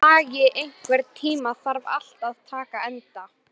Bragi, einhvern tímann þarf allt að taka enda.